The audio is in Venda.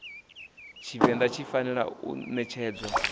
thivhela dzi fanela u ṋetshedzwa